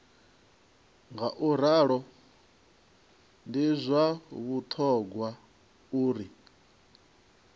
ngauralo ndi zwa vhuṱhogwa uri